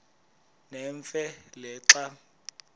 nemfe le xa